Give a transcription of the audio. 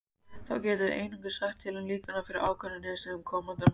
Þá getum við einungis sagt til um líkurnar fyrir ákveðnum niðurstöðum komandi mælinga.